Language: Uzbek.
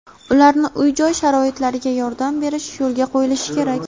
ularni uy-joy sharoitlariga yordam berish yo‘lga qo‘yilishi kerak.